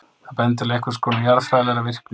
Það bendir til einhvers konar jarðfræðilegrar virkni.